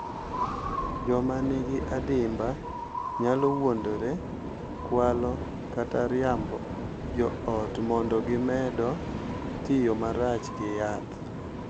Joma nigi adimba nyalo wuondore, kwalo, kata riambo jo ot mondo gimedo tiyo marach gi yath,